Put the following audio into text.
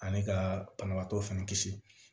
Ani ka banabaatɔ fɛnɛ kisi